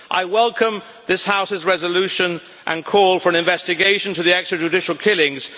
I welcome this House's resolution and call for an investigation into the extrajudicial killings.